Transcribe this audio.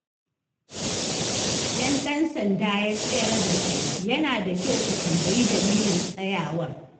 Idan ɗan sanda ya tsayar da kai, yana da kyau ka tambayi dalilin tsayawar.